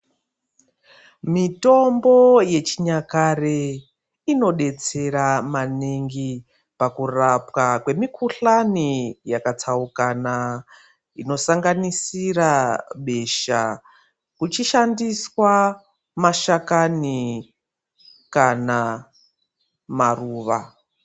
Mitombo ye chinyakare ino detsera maningi paku rapwa kwe mikuhlani yaka tsaukana ino sanganisira besha kuchi shandiswa mashakani kana maruva.